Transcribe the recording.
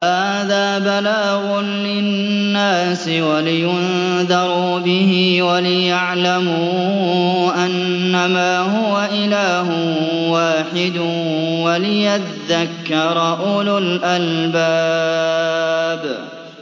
هَٰذَا بَلَاغٌ لِّلنَّاسِ وَلِيُنذَرُوا بِهِ وَلِيَعْلَمُوا أَنَّمَا هُوَ إِلَٰهٌ وَاحِدٌ وَلِيَذَّكَّرَ أُولُو الْأَلْبَابِ